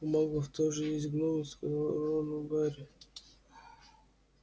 у маглов тоже есть гномы сказал рону гарри